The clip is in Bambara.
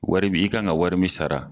Wari min i kan ka wari min sara.